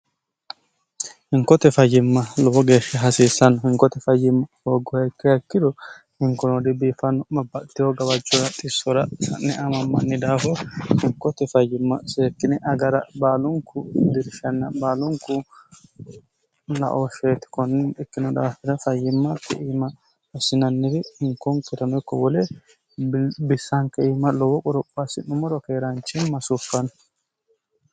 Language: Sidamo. hinkote fayyimma lowo geeshsha hasiissanno hinkote fayyimma hooggohaikkehakkiro hinkonodi biifanno mabbatiho gawajcora xissora sa'ne amammanni daafo hinkote fayyimma seekkine agara baalunku dirshanna baalunku laooshsheeti konninni ikkino daafine fayyimmalti iima assinanniri hinkonkoirano ikko wole bissaanke iima lowo qorophoassi'numoro keeraanchin masuuffanno